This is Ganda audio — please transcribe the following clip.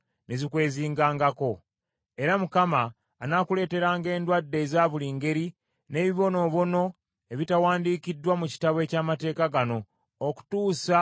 Era Mukama anaakuleeteranga endwadde eza buli ngeri, n’ebibonoobono ebitawandiikiddwa mu Kitabo eky’Amateeka gano, okutuusa lw’olizikirizibwa.